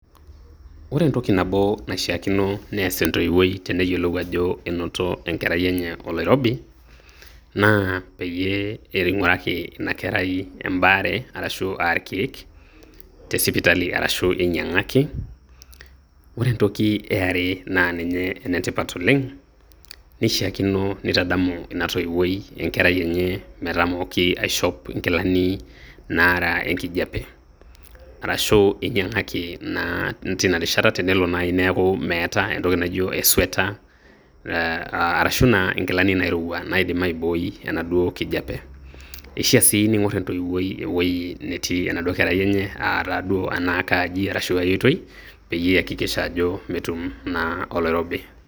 Ore entoki nabo naishakino nees entoiwuoi teneyiolou ajo enoto enkerai enye oloirobi, na peyie ing'uraki ina kerai ebaare arashu a irkeek te sipitali arashu inyang'aki. Ore entoki eare na ninye enetipat oleng',neishaakino nitadamu ina toiwuoi enkerai enye metamoki aishop inkilani naraa enkijape. Arashu inyang'aki na teinarishata tenelo nai neeku meeta entoki naijo e sweater ,eh arashu nai inkilani nairowua naidim aibooi enaduo kijape. Keishaa si neing'or entoiwuoi ewueji netii enaduo kerai enye, ah taduo ena kaaji arashu ai oitoi peyie eakikisha ajo metum naa oloirobi.